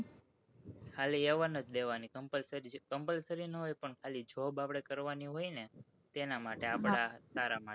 ખાલી લેવા ની compulsory ના હોય પણ job આપડે કરવાની હોય ને તેના માટે આપડા સારા માટે